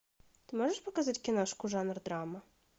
ты можешь показать киношку жанр драма